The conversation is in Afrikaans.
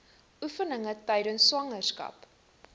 oefeninge tydens swangerskap